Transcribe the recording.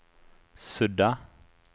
sudda